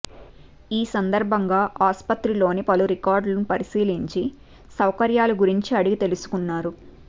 ఈ సందర్భంగా ఆసుపత్రిలోని పలు రికార్డులు పరిశీలించి సౌకర్యాల గురించి అడిగి తెలుసుకున్నారు